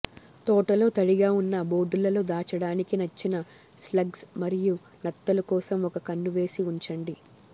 తోటలో తడిగా ఉన్న బోర్డులలో దాచడానికి నచ్చిన స్లగ్స్ మరియు నత్తలు కోసం ఒక కన్ను వేసి ఉంచండి